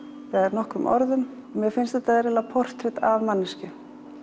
nokkrum orðum mér finnst þetta í rauninni portrett af manneskju